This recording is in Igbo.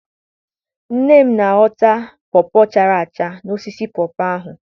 Nne m na-ahọta pọọ pọọ chara acha n'osisi pọọ pọọ ahụ.